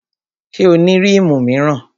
Ṣé o ní rímù míràn?